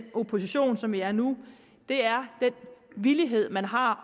oppositionen som vi er nu er den villighed man har